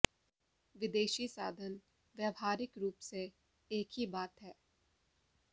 विदेशी साधन व्यावहारिक रूप से एक ही बात है